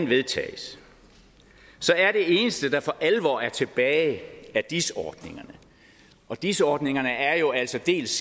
vedtages er det eneste der for alvor er tilbage af dis ordningerne og dis ordningerne er jo altså dels